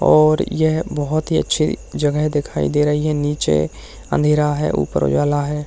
और यह बहौत ही अच्छी जगह दिखाई दे रही है निचे अँधेरा है ऊपर उजाला है।